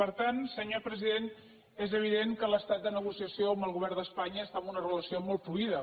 per tant senyor president és evident que l’estat de negociació amb el govern d’espanya està en una relació molt fluida